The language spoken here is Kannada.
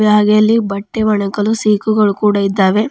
ಹಾಗೆ ಅಲ್ಲಿ ಬಟ್ಟೆ ಒಣ ಹಾಕಲು ಸೀಕುಗಳು ಕೂಡ ಇದ್ದಾವೆ.